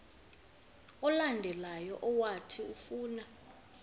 olandelayo owathi ufuna